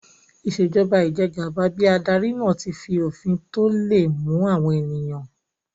Ìṣèjọba ijẹgàba bí adarí náà tí fi òfin tó le mú àwọn ènìyàn